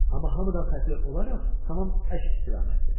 Amma hamıdan fərqli olaraq tamam əks istiqamətdə.